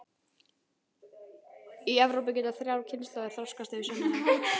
Í Evrópu geta þrjár kynslóðir þroskast yfir sumarið.